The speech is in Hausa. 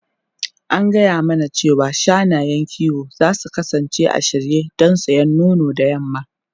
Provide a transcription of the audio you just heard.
An gaya mana cewa shanayen kiwo za su kasance a shirye don yasan nono da yamma.